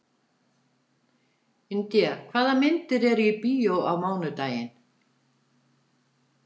India, hvaða myndir eru í bíó á mánudaginn?